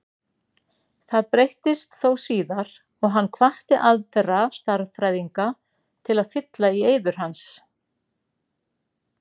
Það breyttist þó síðar og hann hvatti aðra stærðfræðinga til að fylla í eyður hans.